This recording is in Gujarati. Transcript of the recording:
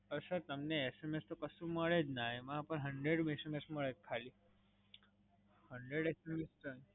પણ સર તમને SMS તો કશું મળે જ ના, એમાં પણ hundred SMS મળે ખાલી. hundred ખાલી